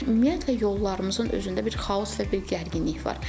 Ümumiyyətlə yollarımızın özündə bir xaos və bir gərginlik var.